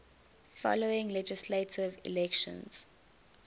following legislative elections